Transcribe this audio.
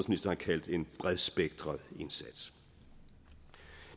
kaldt en bredspektret indsats